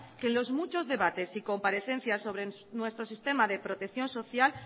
que en los muchos debates y comparecencias sobre nuestro sistema de protección social